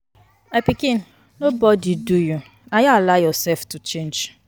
My pikin nobody do you. Na you allow yourself to change